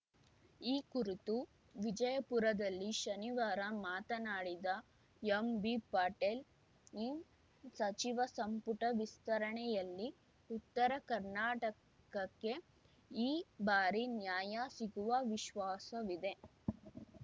ಈ ಕುರಿತು ವಿಜಯಪುರದಲ್ಲಿ ಶನಿವಾರ ಮಾತನಾಡಿದ ಎಂಬಿಪಾಟೀಲ್‌ ಸಚಿವ ಸಂಪುಟ ವಿಸ್ತರಣೆಯಲ್ಲಿ ಉತ್ತರ ಕರ್ನಾಟಕಕ್ಕೆ ಈ ಬಾರಿ ನ್ಯಾಯ ಸಿಗುವ ವಿಶ್ವಾಸವಿದೆ